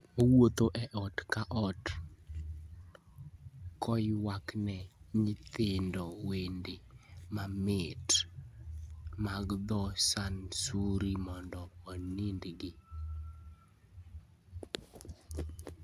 Owuotho e ot ka ot koywakne nyithindo wende mamit mag dho Sansuri mondo onindgi.